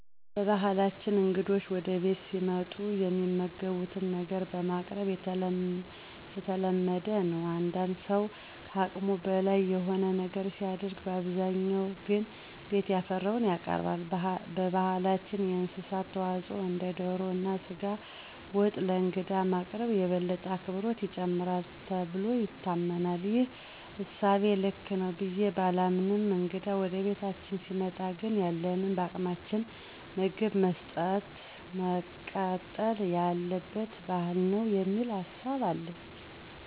በባህላችን እንግዶች ወደ ቤታችን ሲመጡ የሚመገቡትን ነገር ማቅረብ የተለመደ ነው። አንዳንድ ሠው ከአቅሙ በላይ የሆነ ነገር ሲያደርግ በአብዛኛው ግን ቤት ያፈራውን ያቀርባል። በባህላችን የእንስሳት ተዋፅዖ እንደ ዶሮ እና ስጋ ወጥ ለእንግዳ ማቅረብ የበለጠ አክብሮትን ይጨምራል ተብሎ ይታመናል። ይህ እሳቤ ልክ ነው ብዬ ባላምንም እንግዳ ወደ ቤታችን ሲመጣ ግን ያለንን በአቅማችን ምግብ መስጠጥ መቀጠል ያለበት ባህል ነው የሚል ሀሳብ አለኝ።